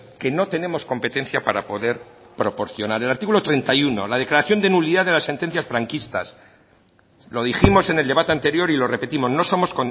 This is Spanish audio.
que no tenemos competencia para poder proporcionar el artículo treinta y uno la declaración de nulidad de las sentencias franquistas lo dijimos en el debate anterior y lo repetimos no somos